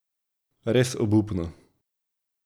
Res obupno.